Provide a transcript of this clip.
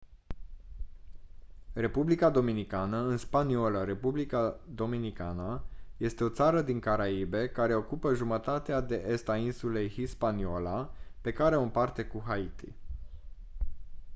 republica dominicană în spaniolă: república dominicana este o țară din caraibe care ocupă jumătatea de est a insulei hispaniola pe care o împarte cu haiti